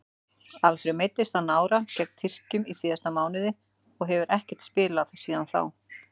Alfreð meiddist á nára gegn Tyrkjum í síðasta mánuði og hefur ekkert spilað síðan þá.